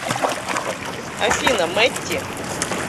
афина мэтти